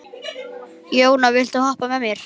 Jóna, viltu hoppa með mér?